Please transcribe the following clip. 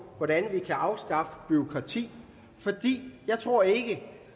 hvordan vi kan afskaffe bureaukrati jeg tror ikke